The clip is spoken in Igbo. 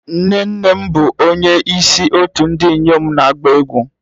Nne nne m bụ onye isi otu ndị inyom na-agba egwu